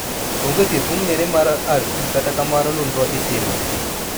Onge thieth mong'ere mar RT kata kamano nonro itimo